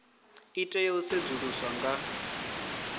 i tea u sedzuluswa nga